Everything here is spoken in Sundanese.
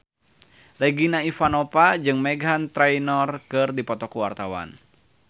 Regina Ivanova jeung Meghan Trainor keur dipoto ku wartawan